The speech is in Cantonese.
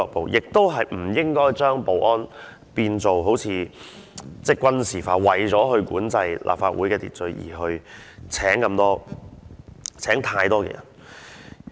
此外，我覺得亦不應該將保安變成軍事化，為了管制立法會的秩序而聘請太多人員。